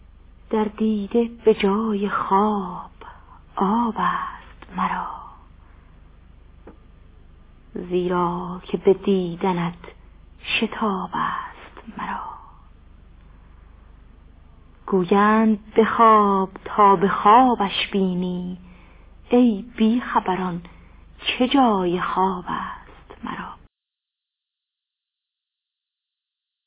در دیده به جای خواب آب است مرا زیرا که به دیدنت شتاب است مرا گویند بخواب تا به خوابش بینی ای بی خبران چه جای خواب است مرا